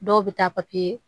Dɔw bɛ taa papiye